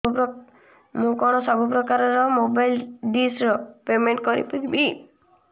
ମୁ କଣ ସବୁ ପ୍ରକାର ର ମୋବାଇଲ୍ ଡିସ୍ ର ପେମେଣ୍ଟ କରି ପାରିବି